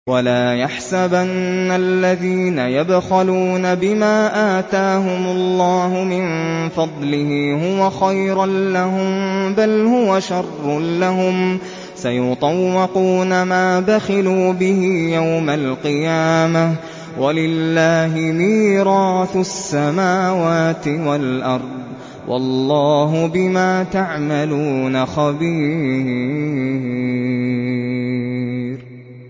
وَلَا يَحْسَبَنَّ الَّذِينَ يَبْخَلُونَ بِمَا آتَاهُمُ اللَّهُ مِن فَضْلِهِ هُوَ خَيْرًا لَّهُم ۖ بَلْ هُوَ شَرٌّ لَّهُمْ ۖ سَيُطَوَّقُونَ مَا بَخِلُوا بِهِ يَوْمَ الْقِيَامَةِ ۗ وَلِلَّهِ مِيرَاثُ السَّمَاوَاتِ وَالْأَرْضِ ۗ وَاللَّهُ بِمَا تَعْمَلُونَ خَبِيرٌ